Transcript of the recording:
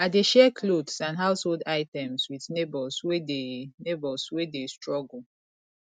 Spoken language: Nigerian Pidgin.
i dey share clothes and household items with neighbors wey dey neighbors wey dey struggle